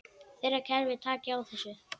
Þeirra kerfi taki á þessu.